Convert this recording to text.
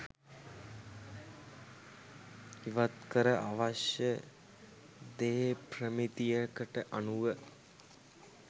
ඉවත් කර අවශ්‍ය දේ ප්‍රමිතියකට අනුව